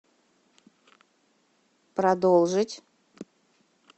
продолжить